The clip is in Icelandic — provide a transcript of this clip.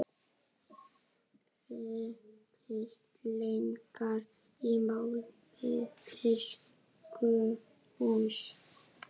Vítisenglar í mál við tískuhús